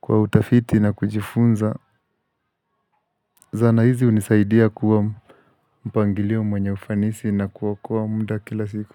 kwa utafiti na kujifunza Zana hizi hunisaidia kuwa mpangilio mwenye ufanisi na kuokoa muda kila siku.